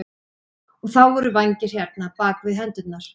Og þá voru vængir hérna, bak við hendurnar.